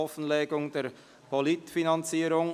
Offenlegung der Politikfinanzierung›